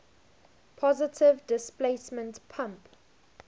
positive displacement pump